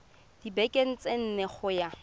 dibekeng tse nne go ya